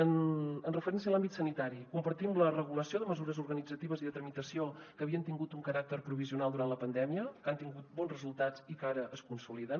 en referència a l’àmbit sanitari compartim la regulació de mesures organitzatives i de tramitació que havien tingut un caràcter provisional durant la pandèmia que han tingut bons resultats i que ara es consoliden